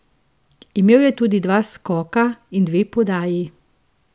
Imel je tudi dva skoka in dve podaji.